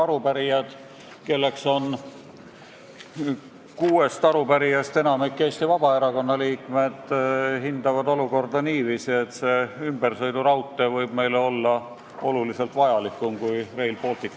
Arupärijad, kellest kuuest enamik on Eesti Vabaerakonna liikmed, hindavad olukorda niiviisi, et see ümbersõiduraudtee võib olla meile palju vajalikum kui Rail Baltic.